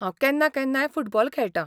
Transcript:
हांव केन्ना केन्नाय फुटबॉल खेळटां.